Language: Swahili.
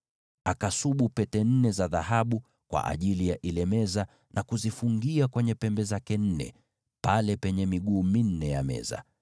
Akasubu pete nne za dhahabu kwa ajili ya meza hiyo, na kuzifungia kwenye pembe nne, pale penye miguu yake minne.